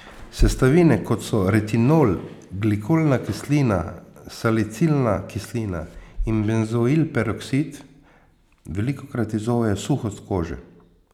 Sestavine, kot so retinol, glikolna kislina, salicilna kislina in benzoilperoksid, velikokrat izzovejo suhost kože.